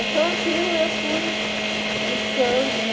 Então aquilo eu fui buscando, né?